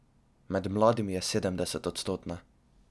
Med mladimi je sedemdesetodstotna.